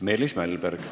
Meelis Mälberg.